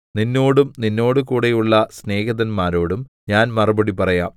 നിന്നോടും നിന്നോടുകൂടെയുള്ള സ്നേഹിതന്മാരോടും ഞാൻ മറുപടി പറയാം